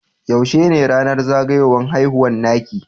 Yaushe ne ranar zagayuwan haihuwa naki?